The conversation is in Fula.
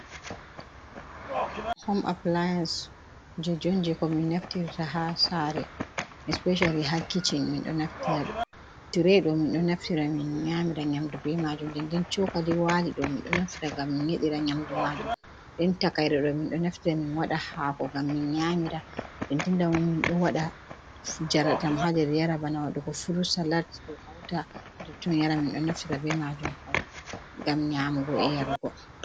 Hom apilayance kujeji on jai ko min naftirta ha sare especiyali ha kishin min ɗo naftira, tire ɗo min ɗo nyamira nyamdu be majuum ,ɲde chokali wali do min do naftita gam min yedira nyamdu be majuum den takaire ɗo min ɗo naftira min wada hako ngam min nyamira, de dindamo min do wada jara ɗam ha ndar yara , bana waɗugo furut salat ɗo hauta ha ton yara ,min ɗo naftira be majuum pat gam nyamugo e yarugo.